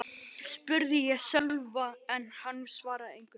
spurði ég Sölva en hann svaraði engu.